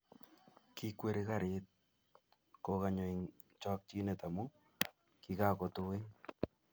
Kikweri Garit kukanyu eng chokchinet amu kikakotuit